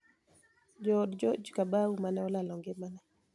Jood George Kabau ma ne olalo ngimane